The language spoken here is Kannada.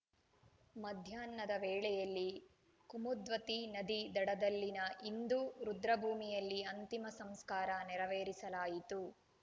ಮಧ್ಯಾಹ್ನದ ವೇಳೆಯಲ್ಲಿ ಕುಮದ್ವತಿ ನದಿ ದಡದಲ್ಲಿನ ಹಿಂದೂ ರುದ್ರಭೂಮಿಯಲ್ಲಿ ಅಂತಿಮ ಸಂಸ್ಕಾರ ನೆರವೇರಿಸಲಾಯಿತು